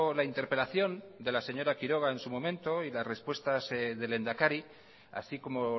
la interpelación de la señora quiroga en su momento y las respuestas del lehendakari así como